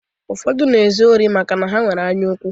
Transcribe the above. Ụfọdụ na-ezu ori maka na ha nwere anyaukwu.